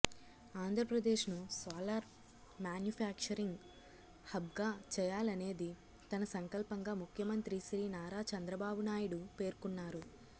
ఆంధ్రప్రదేశ్ ను solar manufacturing hub గా చేయాలనేది తన సంకల్పంగా ముఖ్యమంత్రి శ్రీ నారా చంద్రబాబు నాయుడు పేర్కొన్నారు